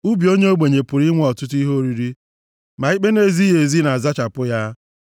Ubi onye ogbenye pụrụ inwe ọtụtụ ihe oriri, ma ikpe na-ezighị ezi na-azachapụ ya.